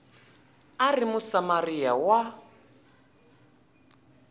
a a ri musamariya wa